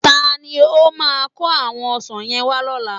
Ta ni ó máa kó àwọn ọsàn yẹn wá lọ́la?